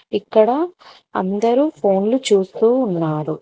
ఇక్కడ అందరు ఫోన్లు చూస్తూ ఉన్నారు.